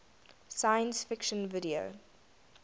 science fiction video